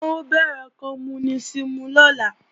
Wọ́n ó bẹ̀rẹ̀ kọmúnísìmù lọ́la